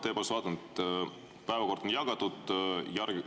Ma tõepoolest vaatan, et päevakord on laiali jagatud.